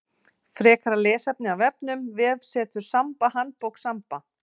Frekara lesefni af vefnum: Vefsetur Samba Handbók Samba.